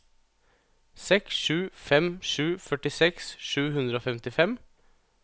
seks sju fem sju førtiseks sju hundre og femtifem